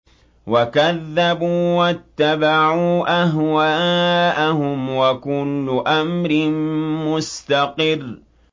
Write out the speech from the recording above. وَكَذَّبُوا وَاتَّبَعُوا أَهْوَاءَهُمْ ۚ وَكُلُّ أَمْرٍ مُّسْتَقِرٌّ